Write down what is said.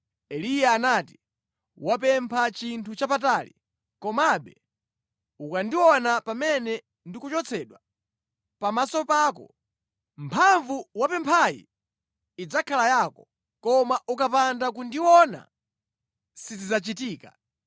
Eliya anati, “Wapempha chinthu chapatali, komabe ukandiona pamene ndikuchotsedwa pamaso pako, mphamvu wapemphayi idzakhala yako, koma ukapanda kundiona sizidzachitika.”